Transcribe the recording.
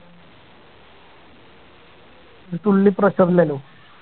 ഒരു തുള്ളി pressure ഇല്ലല്ലോ